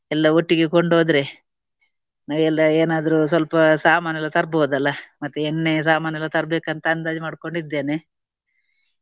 ಎಲ್ಲಾ ಒಟ್ಟಿಗೆ ಕೊಂಡು ಹೋದ್ರೆ ಎಲ್ಲ ಏನಾದ್ರೂ ಸ್ವಲ್ಪ ಸಾಮಾನೆಲ್ಲ ತರ್ಬಹುದು ಅಲ್ಲಾ. ಮತ್ತೆ ಎಣ್ಣೆ ಸಾಮಾನೆಲ್ಲ ತರ್ಬೇಕಂತ ಅಂದಾಜು ಮಾಡ್ಕೊಂಡಿದ್ದೇನೆ.